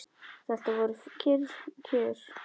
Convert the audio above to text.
Þetta voru kyrr kjör.